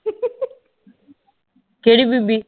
ਕਿਹੜੀ ਬੀਬੀ